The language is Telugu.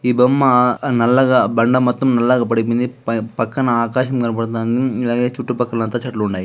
ఈ బొమ్మా నల్లగా బండ మొత్తం నల్లగా పడుకుంది పై పక్కన ఆకాశం కనపడుతుంది. ఉమ్ అలాగే చుట్టు పక్కల మొత్తం చెట్లు ఉన్నాయి.